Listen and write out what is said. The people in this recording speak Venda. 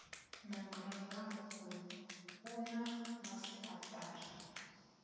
memorandamu uyu u na masiaṱari